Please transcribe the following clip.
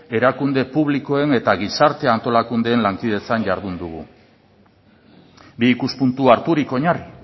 erakunde publikoen eta gizarte antolakundeen lankidetzan jardun dugu bi ikuspuntu harturik oinarri